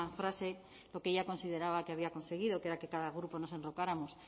frase lo que ella consideraba que había conseguido que era que cada grupo nos enrocáramos